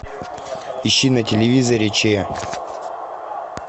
ищи на телевизоре че